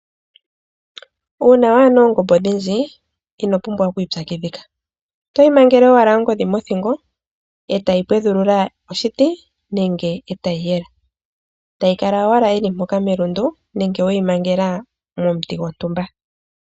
Uuna wana oongombe odhindji ino pumbwa oku ipyakidhika otoyi mangele owala ongodhi mothingo etayi pwedhulula oshitii nenge etayiyela etayi kala owala yili mpokamelundu nenge weyi mangela momunti gwontumba.